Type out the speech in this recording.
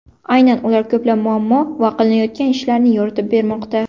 Aynan ular ko‘plab muammo va qilinayotgan ishlarni yoritib bermoqda.